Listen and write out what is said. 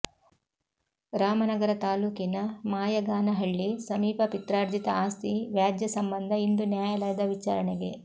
ರಾಮನಗರ ತಾಲೂಕಿನ ಮಾಯಗಾನಹಳ್ಳಿ ಸಮೀಪ ಪಿತ್ರಾರ್ಜಿತ ಆಸ್ತಿ ವ್ಯಾಜ್ಯ ಸಂಬಂಧ ಇಂದು ನ್ಯಾಯಾಲದ ವಿಚಾರಣೆಗೆ